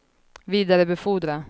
vidarebefordra